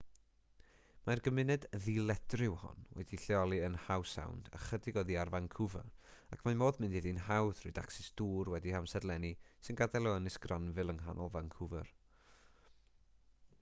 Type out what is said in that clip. mae'r gymuned ddiledryw hon wedi'i lleoli yn howe sound ychydig oddi ar vancouver ac mae modd mynd iddi'n hawdd trwy dacsis dŵr wedi'u hamserlennu sy'n gadael o ynys granville yng nghanol vancouver